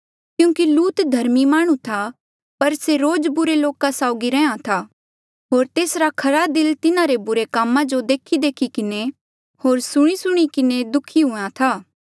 क्यूंकि लूत धर्मी माह्णुं था पर से रोज बुरे लोका साउगी रैहया था होर तेसरा खरा दिल तिन्हारे बुरे कामा जो देखीदेखी किन्हें होर सुणींसुणीं किन्हें दुःखी हूंहां था